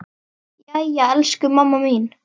Jæja elsku mamma mín.